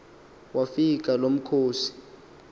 wafika lo mkhosi